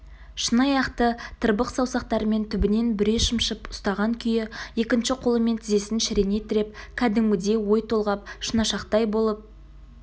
шыныаяқты тырбық саусақтарымен түбінен бүре шымшып ұстаған күйі екінші қолымен тізесін шірене тіреп кәдімгідей ой толғап шынашақтай болып